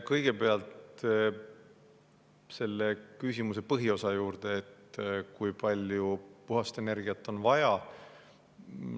Kõigepealt selle küsimuse põhiosa juurde, et kui palju puhast energiat on vaja.